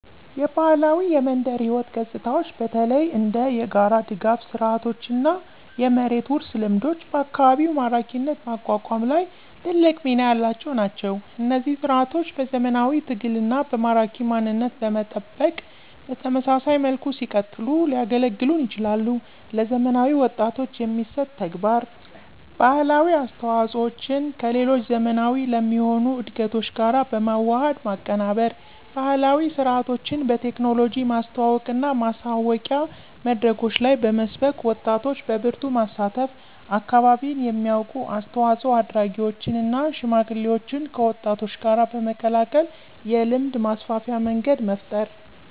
የባህላዊ የመንደር ሕይወት ገጽታዎች በተለይ እንደ የጋራ ድጋፍ ስርዓቶችና የመሬት ውርስ ልምዶች በአካባቢ ማራኪነት ማቋቋም ላይ ትልቅ ሚና ያላቸው ናቸው። እነዚህ ሥርዓቶች በዘመናዊ ትግልና በማራኪ ማንነት በመጠበቅ በተመሳሳይ መልኩ ሲቀጥሉ ሊያገለግሉን ይችላሉ። ለዘመናዊ ወጣቶች የሚሰጥ ተግባር: ባህላዊ አስተዋፆዎቸን ከሌሎች ዘመናዊ ለሚሆኑ እድገቶች ጋር በመዋሃድ ማቀናበር። ባህላዊ ሥርዓቶችን በቴክኖሎጂ ማስተዋወቅና ማሳወቂያ መድረኮች ላይ በመስበክ ወጣቶች በበርቱ ማሳተፍ። አካባቢን የሚያውቁ አስተዋፆ አድራጊዎችን እና ሽማግሌዎችን ከወጣቶች ጋር በመቀላቀል የልምድ ማስተላለፊያ መንገድ መፍጠር።